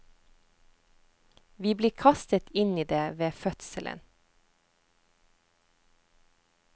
Vi blir kastet inn i det ved fødselen.